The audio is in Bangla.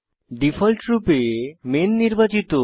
ডিফল্টরপে মেইন নির্বাচিত